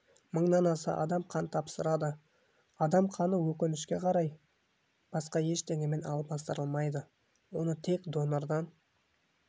мыңнан аса адам қан тапсырады адам қаны өкінішке қарай басқа ештеңемен алмастырылмайды оны тек донордан